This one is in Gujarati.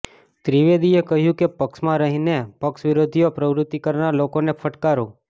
ત્રિવેદીએ કહ્યું કે પક્ષમાં રહીને પક્ષ વિરોધી પ્રવૃતિ કરનાર લોકોને ફટકારો